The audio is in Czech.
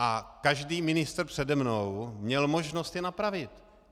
A každý ministr přede mnou měl možnost je napravit.